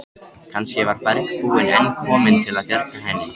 Kannski var bergbúinn enn kominn til að bjarga henni.